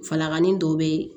Falaganin dɔ bɛ yen